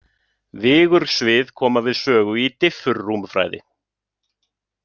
Vigursvið koma við sögu í diffurrúmfræði.